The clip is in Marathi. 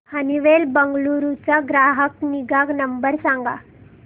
हनीवेल बंगळुरू चा ग्राहक निगा नंबर सांगा